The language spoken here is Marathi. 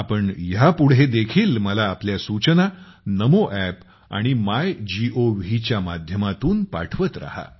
आपण ह्यापुढे देखील मला आपल्या सूचना नामो App आणि मायगोव च्या माध्यमातून पाठवत राहा